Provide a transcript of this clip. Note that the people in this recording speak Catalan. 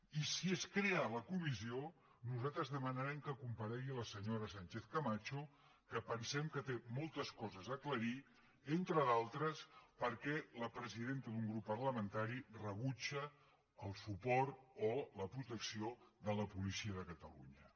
i si es crea la comissió nosaltres demanarem que comparegui la senyora sánchez camacho que pensem que té moltes coses a aclarir entre d’altres per què la presidenta d’un grup parlamentari rebutja el suport o la protecció de la policia de catalunya